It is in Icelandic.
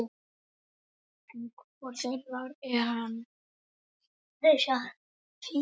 En hvor þeirra er það?